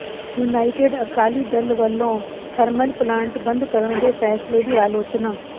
United Akali Dal ਵਲੋਂ thermal plant ਬੰਦ ਕਰਨ ਦੇ ਫ਼ੈਸਲੇ ਦੀ ਅਲੋਚਨਾ